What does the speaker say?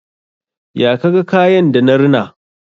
Ya ka ga kayan da na rina?